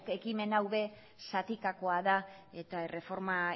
ekimen hau ere zatikakoa da eta erreforma